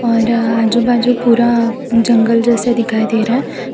और आजू बाजू पूरा जंगल जैसा दिखाई दे रहा--